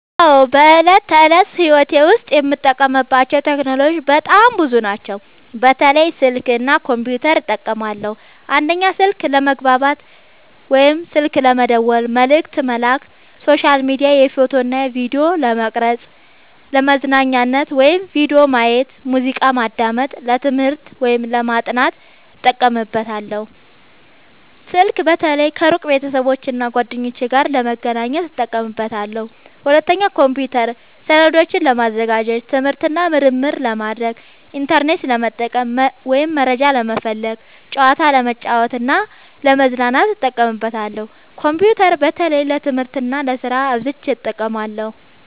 አዎ፣ በዕለት ተዕለት ሕይወቴ ዉስጥ የምጠቀምባቸው ቴክኖሎጂዎች በጣም ብዙ ናቸው፣ በተለይ ስልክ እና ኮምፒውተር እጠቀማለሁ። 1. ስልክ፦ ለመግባባት (ስልክ መደወል፣ መልዕክት መላክ)፣ሶሻል ሚዲያ፣ ፎቶ እና ቪዲዮ ለመቅረጵ፣ ፣ለመዝናኛነት(ቪዲዮ ማየት፣ ሙዚቃ ማዳመጥ)፣ ለትምህርት(ለማጥናት) እጠቀምበታለሁ። ስልክ በተለይ ከሩቅ ቤተሰቦቼና እና ጓደኞቼ ጋር ለመገናኘት እጠቀምበታለሁ። 2. ኮምፒውተር፦ ሰነዶችን ለማዘጋጀት፣ ትምህርት እና ምርምር ለማድረግ፣ ኢንተርኔት ለመጠቀም (መረጃ ለመፈለግ)፣ ጨዋታ ለመጫወት እና ለመዝናኛነት እጠቀምበታለሁ። ኮምፒውተር በተለይ ለትምህርት እና ለስራ አብዝቸ እጠቀማለሁ።